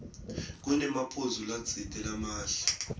kunemaphuzu latsite lamahle